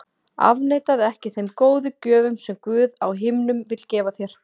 Afneitaðu ekki þeim góðu gjöfum sem Guð á himnum vill gefa þér.